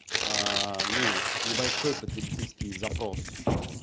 ну небольшой потребительский запрос